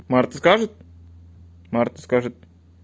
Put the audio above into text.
марта скажет марта скажет